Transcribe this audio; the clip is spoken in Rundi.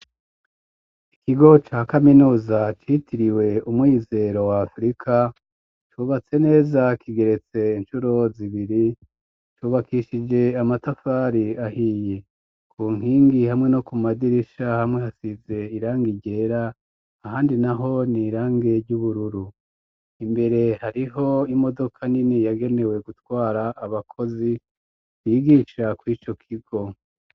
Ikigo ca kaminuza citiriwe umwizero wa afirika cubatse neza kigeretse inshuro zibiri cubakishije amatafari ahiye ku nkingi hamwe no ku madirisha hamwe hasize irangi ryera ahandi naho ni irange ry'ubururu imbere hariho imodoka nini yagenewe gutwara abakozi bigisha ku ico kigo.